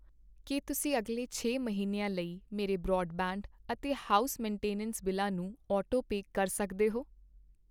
ਕੀ ਤੁਸੀਂ ਅਗਲੇ ਛੇ ਮਹੀਨਿਆਂ ਲਈ ਮੇਰੇ ਬਰਾਡਬੈਂਡ ਅਤੇ ਹਾਊਸ ਮੇਨਟੇਨੈਂਸ ਬਿੱਲਾਂ ਨੂੰ ਆਟੋਪੇ ਕਰ ਸਕਦੇ ਹੋ?